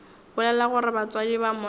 bolela gore batswadi ba monna